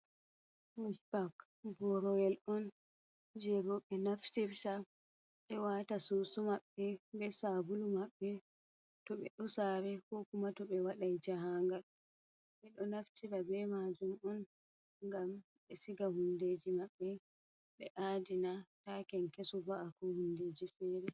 Sup bak boroyel on je rowɓe naftita ɓe wata susu maɓɓe be sabulu maɓɓe to ɓe ɗo saare ko kuma to ɓe waɗan jaahangal. ɓƁe ɗo naftiba be majum on ngam ɓe siga hundeji maɓɓe ɓe adina ta kenkesu va’a ko hundeji feere.